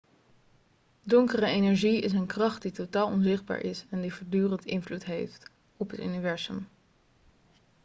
donkere energie is een kracht die totaal onzichtbaar is en die voortdurend invloed heeft op het universum